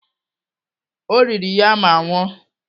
O riri ya ma nwụọ.